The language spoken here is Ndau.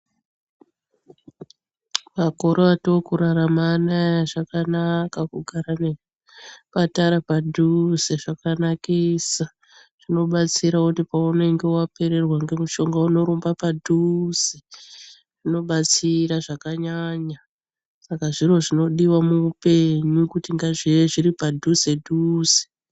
Makore ataakurara anaya zvakanaka kugara nezvipatara padhuze. Zvakanakisa zvinobatsira kuti paunenge wapererwa ngemishonga unorumba padhuze zvinobatsira zvakanyanya. Saka zviro zvinodiwa muupenyu kuti ngazvive zviri padhuze dhuze.